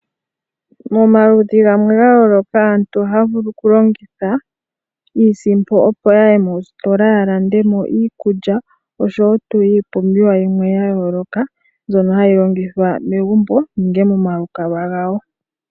Momaludhi gamwe gayooloka aantu ohaya vulu okulongitha iisimpo opo yaye moositola yalandemo iikulya oshowoo iipumbiwa yimwe yayooloka ,mbyono hayi longithwa momagumbo nenge momalukalwa gawo.